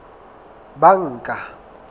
banka